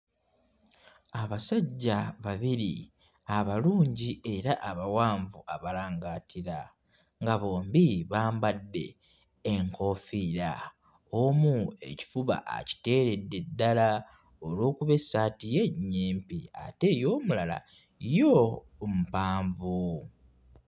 Abasajja babiri abalungi era abawanvu abalangaatira nga bombi bambadde enkoofiira, omu ekifuba akiteeredde ddala olw'okuba essaati ye nnyimpi ate ey'omulala yo mpanvu.